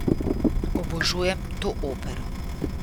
Obožujem to opero.